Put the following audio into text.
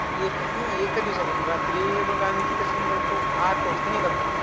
एक हां, एकच दिवसांचं, रात्री बघ आम्ही किती वाजता निघाल्तो, आठ वाजता निघाल्तो.